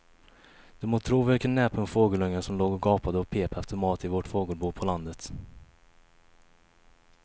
Du må tro vilken näpen fågelunge som låg och gapade och pep efter mat i vårt fågelbo på landet.